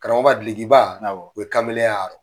Karamɔgɔ ka delikiba, awɔ, u ye kamelenya arɔ.